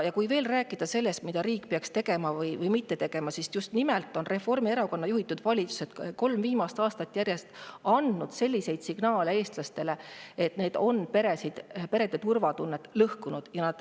Kui rääkida sellest, mida riik peaks tegema või mitte tegema, siis Reformierakonna juhitud valitsused on andnud kolm viimast aastat järjest eestlastele selliseid signaale, mis on lõhkunud perede turvatunnet.